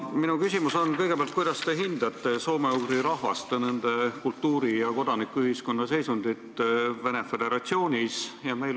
Minu küsimus on kõigepealt see: kuidas te hindate soome-ugri rahvaste, nende kultuuri ja kodanikuühiskonna seisundit Venemaa Föderatsioonis?